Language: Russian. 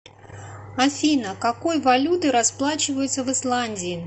афина какой валютой расплачиваются в исландии